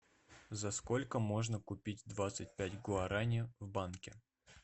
за сколько можно купить двадцать пять гуарани в банке